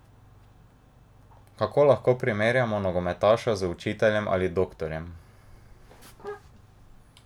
Kako lahko primerjamo nogometaša z učiteljem ali doktorjem?